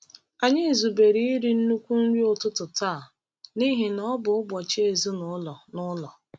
Anyị zubere iri nnukwu nri ụtụtụ taa n’ihi na ọ bụ ụbọchị ezinụlọ n’ụlọ.